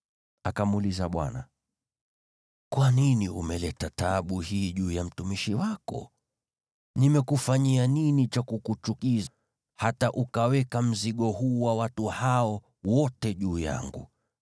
Akamuuliza Bwana , “Kwa nini umeleta taabu hii juu ya mtumishi wako? Nimekufanyia nini cha kukuchukiza hata ukaweka mzigo huu wa watu hawa wote juu yangu?